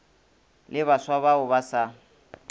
le baswa bao ba sa